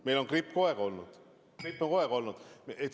Meil on gripp kogu aeg olnud.